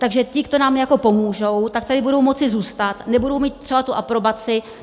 Takže ti, kdo nám jako pomůžou, tak tady budou moci zůstat, nebudou mít třeba tu aprobaci.